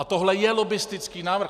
A tohle je lobbistický návrh.